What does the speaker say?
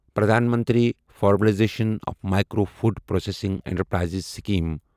Pradhan Mantri formalisation of micro food processing enterprises scheme